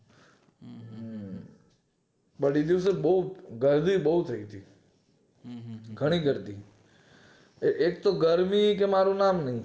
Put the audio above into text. પણ એ દિવસેબોવ ગરમી બોવ થઈ તી ખરેખર થી એક તો ગરમી કે મારુ નામ